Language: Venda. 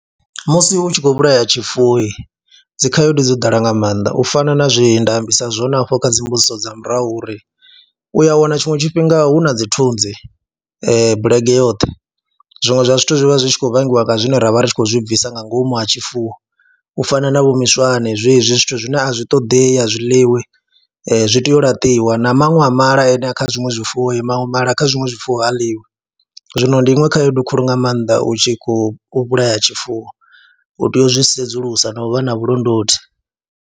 Musi u tshi khou vhulaya tshifuwohi dzi khaedu dzo ḓala nga maanḓa u fana na zwi nda ambisa zwone afho kha dzi mbudziso dza murahu uri u ya wana tshiṅwe tshifhinga hu na dzi thunzi bulege yoṱhe, zwiṅwe zwa zwithu zwi vha zwi tshi khou vhangiwa nga zwine ra vha ri tshi khou zwi bvisa nga ngomu ha tshifuwo u fana na vho miswane zwezwi zwithu zwine a zwi ṱoḓei, a zwi ḽiwi, zwi tea u laṱiwa na maṅwe a mala ane kha zwiṅwe zwifuwo, maṅwe mala kha zwiṅwe zwifuwo ha ḽiwi. Zwino ndi iṅwe khaedu khulu nga maanḓa u tshi khou vhulaya tshifuwo, u tea u zwi sedzulusa no vha na vhulondoti.